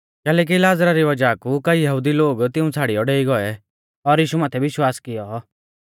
कैलैकि लाज़रा री वज़ाह कु कईऐ यहुदी लोग तिऊं छ़ाड़ियौ डेई गौऐ और यीशु माथै विश्वास कियौ